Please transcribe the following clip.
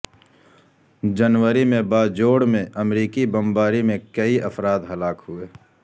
جنوری میں باجوڑ میں امریکی بمباری میں کئی افراد ہلاک ہوئے